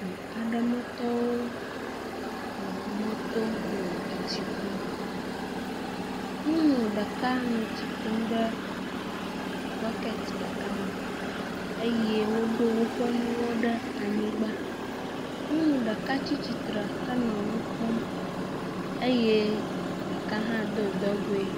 Du aɖewo metɔwo le mɔto le tsi kum. Nyɔnu ɖeka le etsi kum ɖe bɔket ɖeka me eye woɖo woƒe nuwo ɖe anyigba. Nyɔnu ɖeka tsi tsitre henɔ nu kpɔm eye ɖeka do dɔgoe.